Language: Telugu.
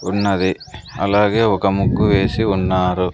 ఉన్నది అలాగే ఒక ముగ్గు వేసి ఉన్నారు.